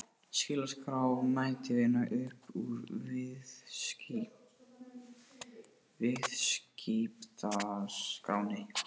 Slíka skrá mætti vinna upp úr Viðskiptaskránni